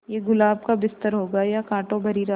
ये गुलाब का बिस्तर होगा या कांटों भरी राह